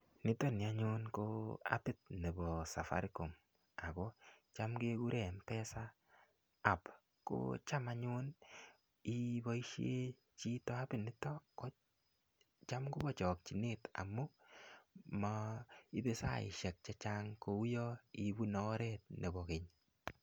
Nitoni anyun, ko appit nebo safaricom. Ako cham kekure mpesa app. Ko cham anyun, iboisie chito appit niton, kocham kobo chakchinet amu maibe saishek chechang kouyo ibune oret nebo keny.